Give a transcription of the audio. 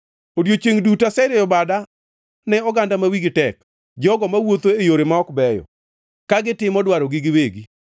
Odiechiengʼ duto aserieyo bada ne oganda ma wigi tek, jogo mawuotho e yore ma ok beyo, ka gitimo dwarogi giwegi,